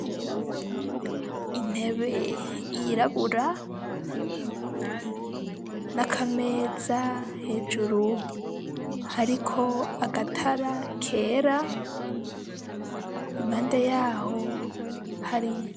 Intebe yirabura n'akameza hejuru hariko agatara kera imande yaho hari.